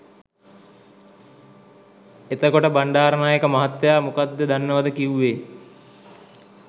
එතකොට බණ්ඩාරනායක මහත්තය මොකද්ද දන්නවද කිවුවේ?